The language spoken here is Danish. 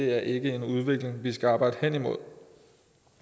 er en udvikling vi ikke skal arbejde hen imod